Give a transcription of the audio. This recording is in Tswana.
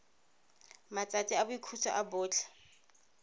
matsatsi a boikhutso a botlhe